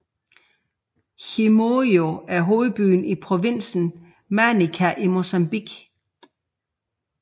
Chimoio er hovedbyen i provinsen Manica i Mozambique